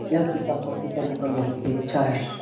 यह किताब कॉपी का दुकान बहुत ही अच्छा है।